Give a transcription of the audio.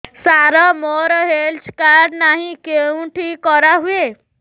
ସାର ମୋର health card ନାହିଁ କେଉଁଠି କରା ହୁଏ